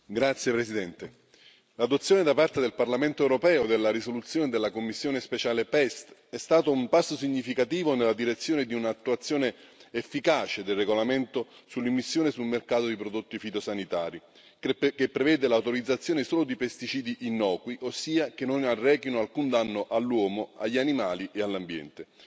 Signor Presidente, onorevoli colleghi, l'approvazione da parte del Parlamento europeo della risoluzione della commissione speciale PEST è stata un passo significativo nella direzione di un'attuazione efficace del regolamento sull'immissione sul mercato di prodotti fitosanitari, che prevede l'autorizzazione solo di pesticidi innocui, ossia che non arrechino alcun danno all'uomo, agli animali e all'ambiente.